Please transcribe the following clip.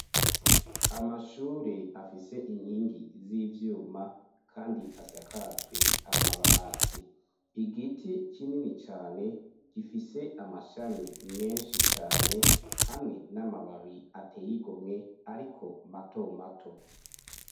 amashure afise inkingi z'ivyuma kandi asakajwe amabati, igiti kinini cane gifise amashami menshi cane hamwe n'amababi ateye igomwe ariko mato mato.